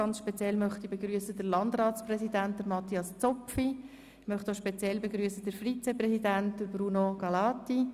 Ganz speziell begrüssen möchte ich den Landratspräsidenten Matthias Zopfi und den Vizepräsidenten Bruno Gallati.